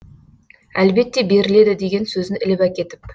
әлбетте беріледі деген сөзін іліп әкетіп